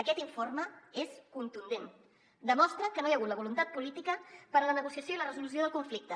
aquest informe és contundent demostra que no hi ha hagut la voluntat política per a la negociació i la resolució del conflicte